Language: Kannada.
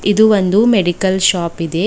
ಇದು ಒಂದು ಮೆಡಿಕಲ್ ಶಾಪ್ ಇದೆ.